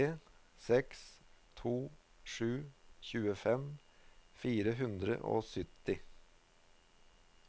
tre seks to sju tjuefem fire hundre og sytti